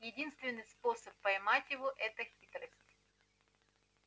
единственный способ поймать его это хитрость